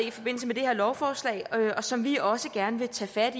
i forbindelse med det her lovforslag og som vi også gerne vil tage fat